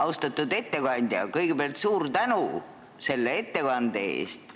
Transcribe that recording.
Austatud ettekandja, kõigepealt suur tänu selle ettekande eest!